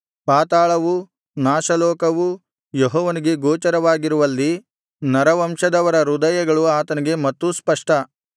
ಪಾತಾಳವೂ ನಾಶಲೋಕವೂ ಯೆಹೋವನಿಗೆ ಗೋಚರವಾಗಿರುವಲ್ಲಿ ನರವಂಶದವರ ಹೃದಯಗಳು ಆತನಿಗೆ ಮತ್ತೂ ಸ್ಪಷ್ಟ